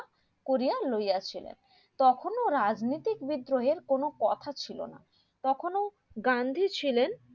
করিয়া লইয়াছিলেন তখনও রাজনীতির বিদ্রোহের কোনো কথা ছিলনা তখন গান্ধী ছিলেন